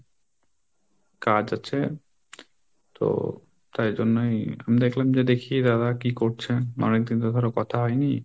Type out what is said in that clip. কাজ আছে তো তাই জন্যই আমি দেখলাম যে দেখি দাদা কি করছে? অনেকদিন তো ধরো কথা হয়নি।